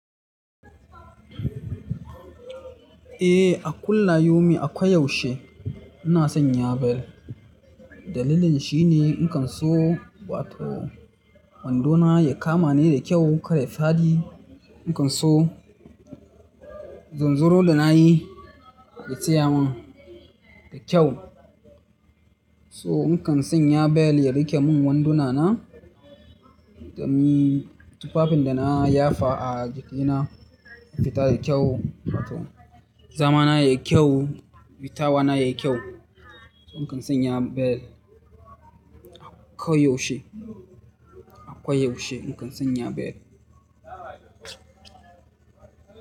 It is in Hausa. Eh, a kulla yaumin ako yaushe ina son Nyabell. Dalilin shi ne na kan so wato wando na ya kama ni da kyau, kai ya faɗi. Na kan so zanzaro da na yi ya tsaya min da kyau. So in kan sanya bel ya riƙe mun wanduna na domin tufafin da na yafa a jikina su fita da kyau. Wato zamana yayi kyau, fitawa na yayi kyau. Na kan sanya bel ako yaushe, ako yaushe na kan sanya bel.